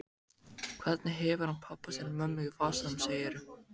Hvernig hefur hann pabba sinn og mömmu í vasanum, segirðu?